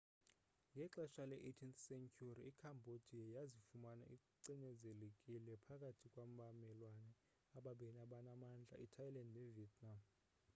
ngexesha le-18th sentyhuri icambodia yazifumana icinezelekile phakathi kwabamelwane ababini abanamandla ithailand nevietnam